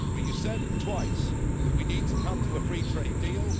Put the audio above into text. But you said twice that we need to come to a free trade deal.